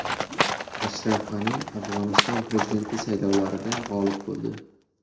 Ashraf G‘ani Afg‘oniston prezidenti saylovlarida g‘olib bo‘ldi .